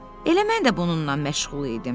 Elə mən də bununla məşğul idim.